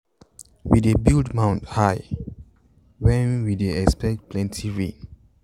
we dey build mound higher when we dey expect plenty rain.